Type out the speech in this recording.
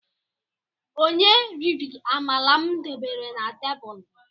Onye riri amala m debere na tebulu?